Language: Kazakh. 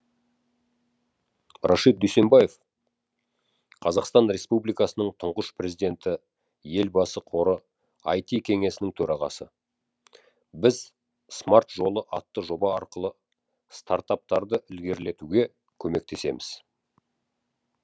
рашид дүйсембаев қр тұңғыш президенті елбасы қоры іт кеңесінің төрағасы біз смарт жолы атты жоба арқылы стартаптарды ілгерілетуге көмектесеміз